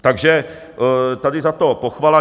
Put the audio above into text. Takže tady za to pochvala.